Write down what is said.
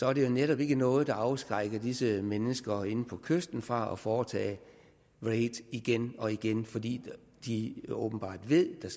er det jo netop ikke noget der afskrækker disse mennesker inde på kysten fra at foretage raids igen og igen fordi de åbenbart ved at der